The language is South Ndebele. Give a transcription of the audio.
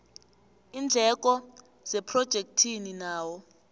iindleko zephrojekhthi nawo